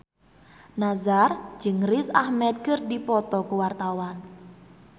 Nassar jeung Riz Ahmed keur dipoto ku wartawan